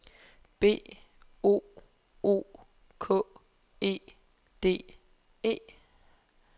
B O O K E D E